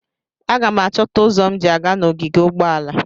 Aga m achọta ụzọ m ji aga n'ogige ụgbọala.